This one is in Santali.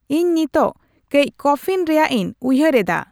ᱤᱧ ᱱᱤᱛᱚᱜ ᱠᱟᱹᱡ ᱠᱚᱯᱷᱤᱧ ᱨᱮᱭᱟᱜ ᱤᱧ ᱩᱭᱦᱟᱹᱨ ᱮᱫᱟ